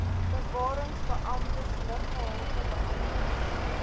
bewarings beamptes luggehaltebeamptes